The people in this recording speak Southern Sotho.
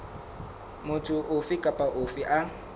motho ofe kapa ofe a